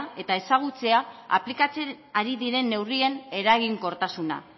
eta ezagutzea aplikatzen ari diren neurrien eraginkortasuna